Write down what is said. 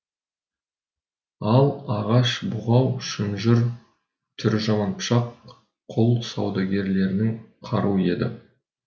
ал ағаш бұғау шынжыр түрі жаман пышақ құл саудагерлерінің қаруы еді